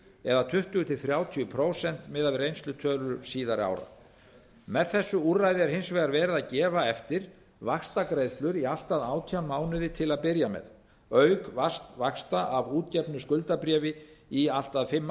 eða tuttugu til þrjátíu prósent miðað við reynslutölur síðari ára með þessu úrræði er hins vegar verið að gefa eftir vaxtagreiðslur í allt að átján mánuði til að byrja með auk vaxta af útgefnu skuldabréfi í allt að fimm